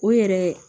O yɛrɛ